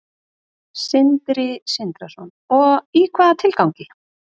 Sindri Sindrason: Og í hvaða tilgangi?